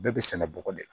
Bɛɛ bɛ sɛnɛ bɔgɔ de la